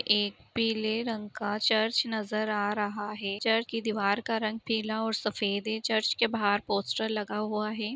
एक पीले रंग का चर्च नजर आ रहा है| चर्च की दीवार का रंग पीला और सफेद है| चर्च के बाहर पोस्टर लगा हुआ है।